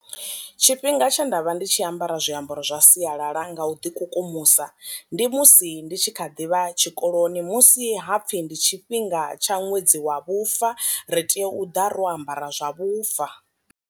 Tshifhinga tshe nda vha ndi tshi ambara zwiambaro zwa sialala nga u ḓi kukumusa ndi musi ndi tshi kha ḓivha tshikoloni musi hapfi ndi tshifhinga tsha ṅwedzi wa vhufa ri tea u ḓa ro ambara zwa vhufa.